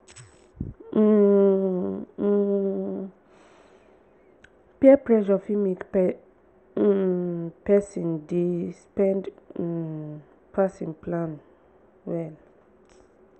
um um peer pressure fit make um pesin dey spend um pass him plan well.